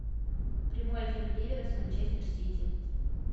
прямой эфир ливера с манчестер сити